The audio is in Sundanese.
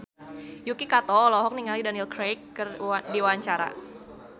Yuki Kato olohok ningali Daniel Craig keur diwawancara